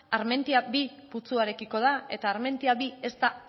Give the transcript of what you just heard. armentiaminus bi putzuarekiko da eta armentiaminus bi ez da